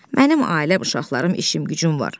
Mənim ailəm, uşaqlarım, işim-gücüm var.